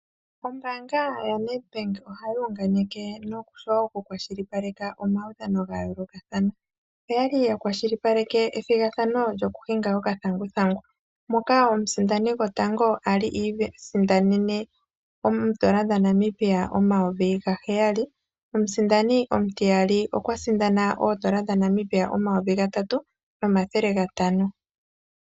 Ombaanga yaNedbank ohayi unganeke noshowo okukwashilipaleka omaudhano ga yoolokathana. Oya li ya kwashilipaleke ethigathano gokuhinga okathanguthangu moka omusindani gotango a li iisindanene N$ 7000 nomusindani omutiyali okwa sindana N$ 3500.